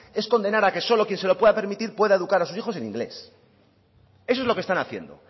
es condenar a que solo quien se lo pueda permitir pueda educar a sus hijos en inglés eso es lo que están haciendo